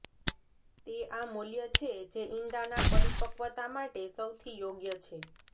તે આ મૂલ્ય છે જે ઇંડાના પરિપક્વતા માટે સૌથી યોગ્ય છે